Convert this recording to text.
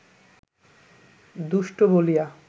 দুষ্টু বলিয়া